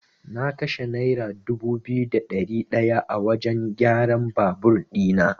Na kashe naira dubu biyu da ɗari ɗaya a wajan kyaran babur ɗina.